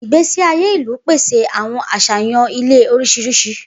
Igbesi aye ilu pese awọn aṣayan ile oriṣiriṣi.